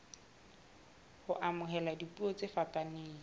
ho amohela dipuo tse fapaneng